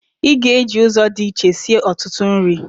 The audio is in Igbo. Ị ga-eji ụzọ dị iche sie ọtụtụ nri?